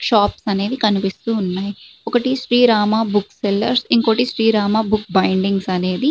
ఇక్కడ షాప్స్ అనేవి కనిపిస్తూ ఉన్నాయి ఒకటి శ్రీరామ బుక్ సెల్లర్ ఇంకోటి శ్రీరామ బుక్ బైండింగ్స్ అనేది.